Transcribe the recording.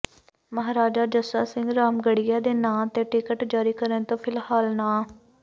ਮਹਾਰਾਜਾ ਜੱਸਾ ਸਿੰਘ ਰਾਮਗੜ੍ਹੀਆ ਦੇ ਨਾਂ ਤੇ ਟਿਕਟ ਜਾਰੀ ਕਰਨ ਤੋਂ ਫ਼ਿਲਹਾਲ ਨਾਂਹ